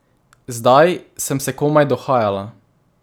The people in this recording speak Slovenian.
Zdaj sem se komaj dohajala.